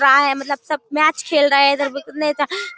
रहा हैं सब मैच खेल रहे हैं इधर --